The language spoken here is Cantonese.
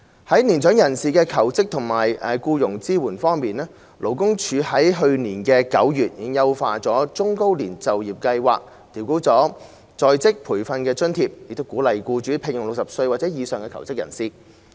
在年長人士求職及僱傭支援方面，勞工處去年9月已優化中高齡就業計劃，調高在職培訓津貼，鼓勵僱主聘用60歲或以上求職人士。